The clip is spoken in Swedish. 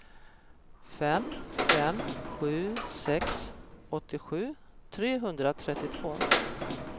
fem fem sju sex åttiosju trehundratrettiotvå